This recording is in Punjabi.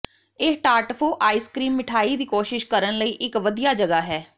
ਇਹ ਟਾਰਟਫੋ ਆਈਸ ਕਰੀਮ ਮਿਠਾਈ ਦੀ ਕੋਸ਼ਿਸ਼ ਕਰਨ ਲਈ ਇੱਕ ਵਧੀਆ ਜਗ੍ਹਾ ਹੈ